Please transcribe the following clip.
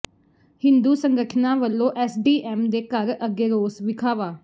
ਹਿੰਦੂ ਸੰਗਠਨਾਂ ਵੱਲੋਂ ਐਸਡੀਐਮ ਦੇ ਘਰ ਅੱਗੇ ਰੋਸ ਵਿਖਾਵਾ